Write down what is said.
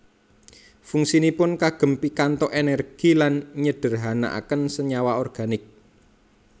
Fungsinipun kagem pikantuk energi lan nyederhanaken senyawa organik